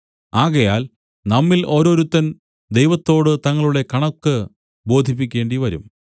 ആകയാൽ നമ്മിൽ ഓരോരുത്തൻ ദൈവത്തോടു തങ്ങളുടെ കണക്ക് ബോധിപ്പിക്കേണ്ടിവരും